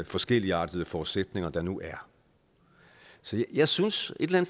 forskelligartede forudsætninger der nu er så jeg synes et eller